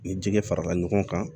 Ni jɛgɛ farala ɲɔgɔn kan